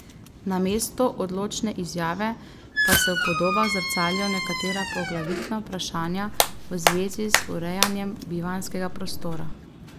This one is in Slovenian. Namesto odločne izjave pa se v podobah zrcalijo nekatera poglavitna vprašanja v zvezi z urejanjem bivanjskega prostora.